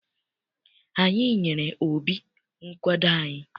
Anyị nyere Obi nkwado anyị.